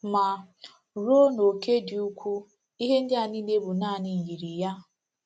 Ma, ruo n’óke dị ukwuu, ihe ndị a niile bụ naanị myiri ya.